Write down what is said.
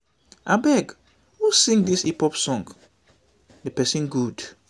abeg who sing dis hip hop song? the person good.